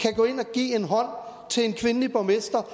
give hånd til en kvindelig borgmester